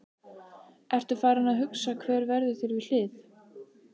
Ertu farinn að hugsa hver verður þér við hlið?